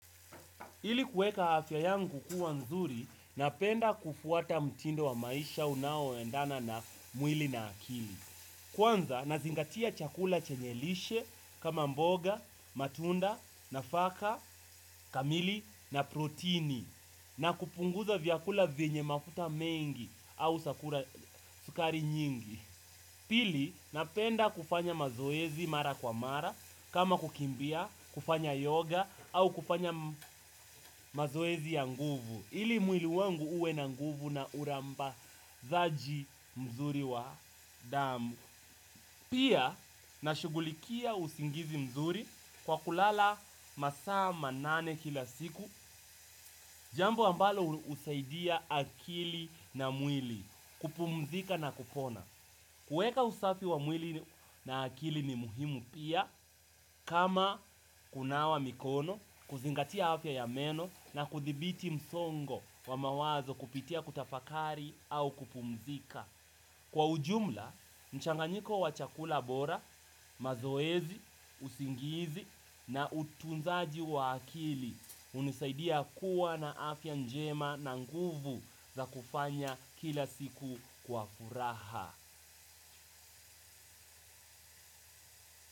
Ili kuweka afya yangu kukua nzuri, napenda kufuata mtindo wa maisha unaoendana na mwili na akili. Kwanza, nazingatia chakula chenye lishe kama mboga, matunda, nafaka kamili na protini na kupunguza vyakula vyenye mafuta mengi au sukari nyingi. Pili, napenda kufanya mazoezi mara kwa mara, kama kukimbia, kufanya yoga, au kufanya mazoezi ya nguvu. Ili mwili wangu uwe na nguvu na uramba zaaji mzuri wa damu. Pia, na shughulikia usingizi mzuri kwa kulala masaa manane kila siku. Jambo ambalo husaidia akili na mwili, kupumzika na kupona. Kueka usafi wa mwili na akili mimuhimu pia kama kunawa mikono, kuzingatia afya ya meno na kuthibiti msongo wa mawazo kupitia kutafakari au kupumzika. Kwa ujumla, mchanganyiko wa chakula bora, mazoezi, usingizi na utunzaji wa akili unisaidia kuwa na afya njema na nguvu za kufanya kila siku kwa furaha.